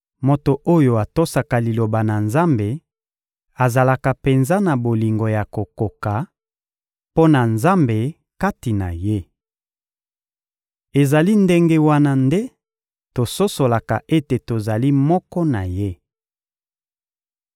Moto oyo atosaka Liloba na Nzambe azalaka penza na bolingo ya kokoka mpo na Nzambe kati na ye. Ezali ndenge wana nde tososolaka ete tozali moko na Ye.